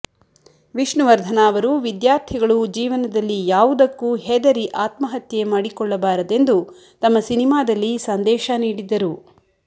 ವಿಷ್ಣುವರ್ಧನ ಅವರು ವಿದ್ಯಾರ್ಥಿಗಳು ಜೀವನದಲ್ಲಿ ಯಾವುದಕ್ಕೂ ಹೆದರಿ ಆತ್ಮಹತ್ಯೆ ಮಾಡಿಕೊಳ್ಳಬಾರದೆಂದು ತಮ್ಮ ಸಿನಿಮಾದಲ್ಲಿ ಸಂದೇಶ ನೀಡಿದ್ದರು